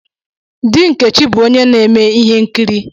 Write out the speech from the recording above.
Di Nkechi bu onye na-eme ihe nkiri.